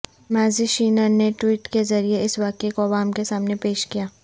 مز شینن نے ٹویٹ کے ذریعے اس واقعے کو عوام کے سامنے پیش کیا